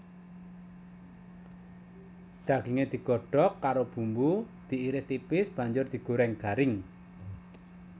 Daginge digodhog karo bumbu diiris tipis banjur digoreng garing